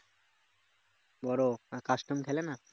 custom খেলে না